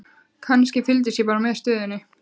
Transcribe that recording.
Kannski, fylgist ég bara með stöðunni?